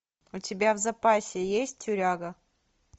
у тебя в запасе есть тюряга